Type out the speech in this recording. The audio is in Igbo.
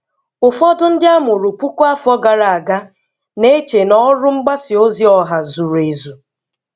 Ụfọdụ ndị a mụrụ puku afọ gara aga na-eche na ọrụ mgbasa ozi ọha zuru ezu.